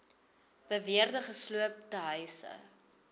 beweerde gesloopte huise